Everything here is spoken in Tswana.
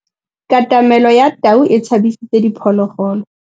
Katamêlô ya tau e tshabisitse diphôlôgôlô.